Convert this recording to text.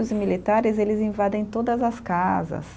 Os militares eles invadem todas as casas.